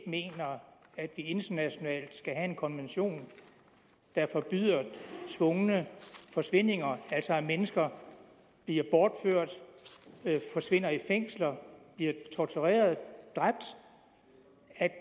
mener at vi internationalt skal have en konvention der forbyder tvungne forsvindinger altså at mennesker bliver bortført forsvinder i fængsler bliver tortureret dræbt